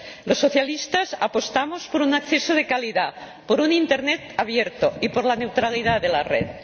Los socialistas apostamos por un acceso de calidad, por un Internet abierto y por la neutralidad de la red.